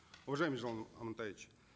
уважаемый елжан амантаевич